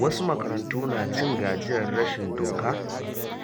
Wasu makarantu na cin gajiyar rashin doka